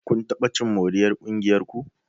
Kun taɓa cin moriyar ƙungiyar ku?